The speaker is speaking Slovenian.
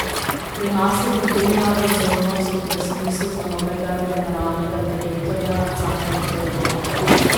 Pri nas je pritegnila pozornost ob razpisu za novega generalnega direktorja Cankarjevega doma.